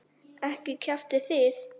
Ekki kjaftið þið.